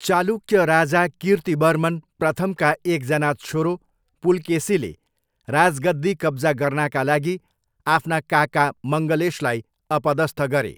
चालुक्य राजा कीर्तिवर्मन प्रथमका एकजना छोरो पुलकेसीले राजगद्दी कब्जा गर्नाका लागि आफ्ना काका मङ्गलेशलाई अपदस्थ गरे।